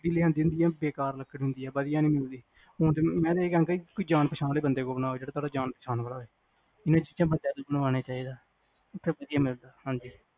ਗੱਲ ਬੇਕਾਰ ਲੱਕੜ ਹੁੰਦੀਆਂ ਵਧਿਆ ਨੀ ਹੁੰਦੀ ਮੈਂ ਤਾਂ ਹੀ ਕਹਿੰਦੀ ਸੀ ਕੋਈ ਜਾਣ ਪਹਿਚਾਣ ਆਲੇ ਬੰਦੇ ਤੋਂ ਬਣਵਾਓ ਜਿਹੜਾ ਤੁਹਾਡਾ ਜਾਣ ਪਹਿਚਾਣ ਵਾਲਾ ਹੋਵੇ ਇਹ ਚੀਜ਼ਾਂ ਓਹਨਾ ਤੋਂ ਈ ਬਨਵਾਣਾ ਚਾਹੀਦਾ ਓਥੇ ਵਧਿਆ ਮਿਲਦਾ ਹਾਂਜੀ